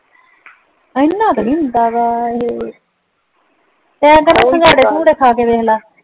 ਇੰਨਾ ਤੇ ਨਹੀਂ ਹੁੰਦਾ ਵੈਸੇ ਏ ਕਰ ਸਿੰਗਾੜੇ ਸਿੰਗਉੜੇ ਖ ਕੇ ਵੇਖ ਲੈ